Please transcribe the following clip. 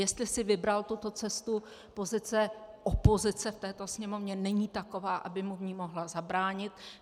Jestli si vybral tuto cestu, pozice opozice v této Sněmovně není taková, aby mu v ní mohla zabránit.